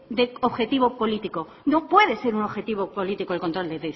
de objetivo político no puede ser un objetivo político el control del